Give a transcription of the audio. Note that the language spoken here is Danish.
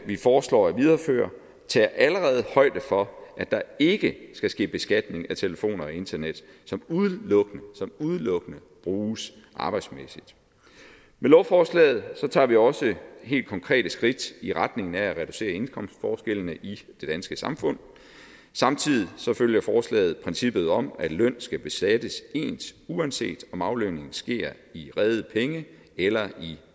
vi foreslår at videreføre tager allerede højde for at der ikke skal ske beskatning af telefon og internet som udelukkende udelukkende bruges arbejdsmæssigt med lovforslaget tager vi også helt konkrete skridt i retning af at reducere indkomstforskellene i det danske samfund samtidig følger forslaget princippet om at løn skal beskattes ens uanset om aflønningen sker i rede penge eller i